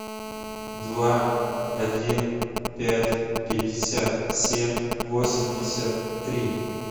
два один пять пятьдесят семь восемьдесят три